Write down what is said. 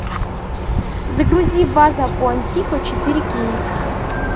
загрузи база куантико четыре кей